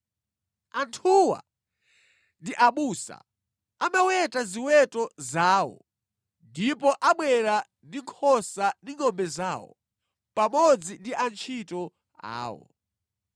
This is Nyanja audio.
Anthuwa ndi abusa; amaweta ziweto zawo ndipo abwera ndi nkhosa ndi ngʼombe zawo, pamodzi ndi antchito awo.’